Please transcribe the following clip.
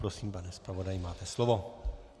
Prosím, pane zpravodaji, máte slovo.